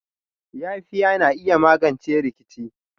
Yafiya na iya magance rikici.